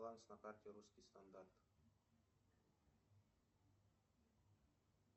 баланс на карте русский стандарт